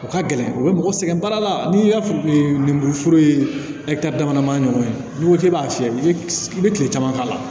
O ka gɛlɛn u bɛ mɔgɔ sɛgɛn baara la n'i y'a fɔ e ye lemuru foro ye dama dama ɲɔgɔn ye n'i ko k'e b'a fiyɛ i bɛ i bɛ kile caman k'a la